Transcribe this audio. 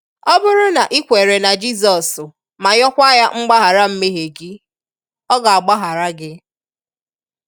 Ọ bụrụ na i kwere na Jizọs ma yọkwaa ya mgbaghara mmehie gị, ọ ga-gbaghara gị!